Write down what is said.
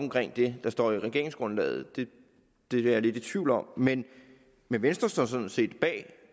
det der står i regeringsgrundlaget det er jeg lidt i tvivl om men men venstre står sådan set bag